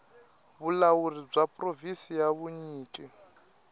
vulawuri bya provhinsi bya vunyiki